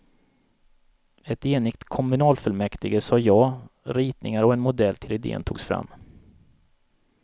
Ett enigt kommunfullmäktige sa ja, ritningar och en modell till idén togs fram.